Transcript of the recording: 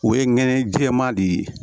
O ye nɛnɛ jɛman de ye